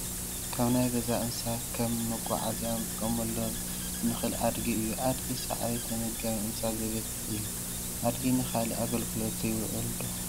ካብ ናይ ገዛ እንስሳት ከም መጉዓዝያ ክንጥቀመሉ እንክእል ኣድጊ እዩ ኣድጊ ሳዕሪ ተመገባ እንስሳ ዘቤት እዩ። ኣድጊ ንካሊእ ኣገልግሎት ይውዕል ዶ?